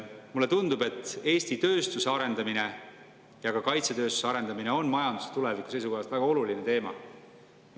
Mulle tundub, et Eesti tööstuse arendamine, ka kaitsetööstuse arendamine on majanduse tuleviku seisukohast väga oluline teema.